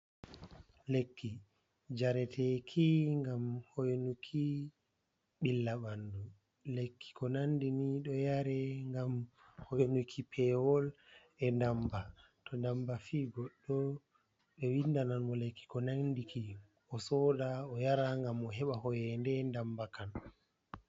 Lekki jareteki ngam hoinuki billa banɗu. Lekki ko nanɗini ɗo yare ngam hoinuki pewol,e ɗamba to ɗamba fi goɗɗo ɗo winɗanan mo lekki ko nanɗiki. O soɗa o yara ngam o heɓa hoienɗe ɗamba kan.